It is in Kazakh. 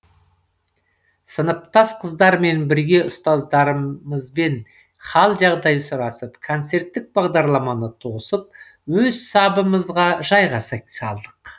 сыныптас қыздармен бірге ұстаздарымызбен хәл жағдай сұрасып концерттік бағдарламаны тосып өз сабымызға жайғаса салдық